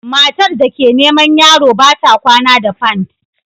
Matar da ke neman yaro ba ta kwana da pant